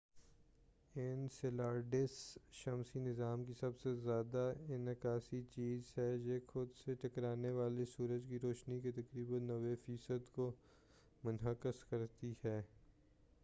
Enceladus شمسی نظام کی سب سے زیادہ انعکاسی چیز ہے یہ خود سے ٹکرانے والی سورج کی روشنی کے تقریبا 90 فیصد کو منعکس کرتی ہے